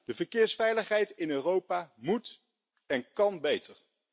De verkeersveiligheid in Europa moet en kan beter!